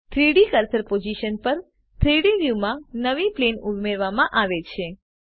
3ડી cursor position પર 3ડી વ્યુંમાં નવી પ્લેન ઉમેરવામાં આવે છે